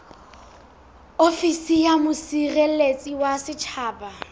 ofisi ya mosireletsi wa setjhaba